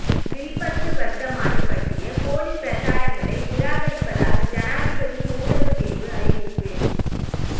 வில்பத்து வர்த்தமானி பற்றிய போலிப் பிரசாரங்களை நிராகரிப்பதாக ஜனாதிபதியின் ஊடகப்பிரிவு அறிவிப்பு